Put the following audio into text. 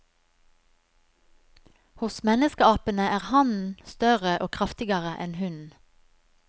Hos menneskeapene er hannen større og kraftigere enn hunnen.